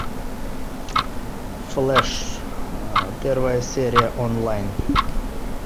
флэш первая серия онлайн